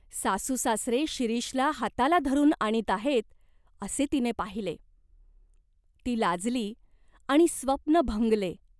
सासूसासरे शिरीषला हाताला धरून आणीत आहेत, असे तिने पाहिले. ती लाजली आणि स्वप्न भंगले.